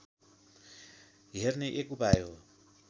हेर्ने एक उपाय हो